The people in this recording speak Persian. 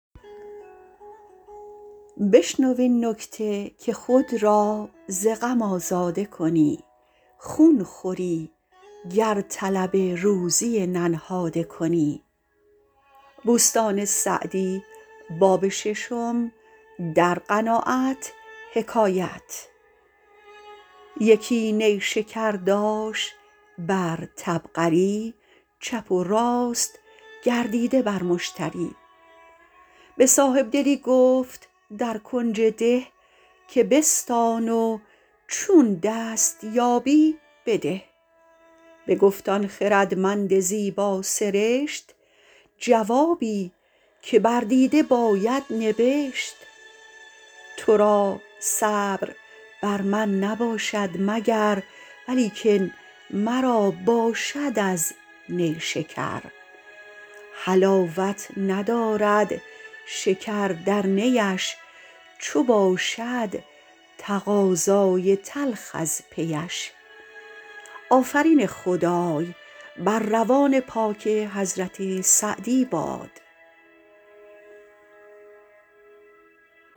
یکی نیشکر داشت بر طبقری چپ و راست گردیده بر مشتری به صاحبدلی گفت در کنج ده که بستان و چون دست یابی بده بگفت آن خردمند زیبا سرشت جوابی که بر دیده باید نبشت تو را صبر بر من نباشد مگر ولیکن مرا باشد از نیشکر حلاوت ندارد شکر در نیش چو باشد تقاضای تلخ از پیش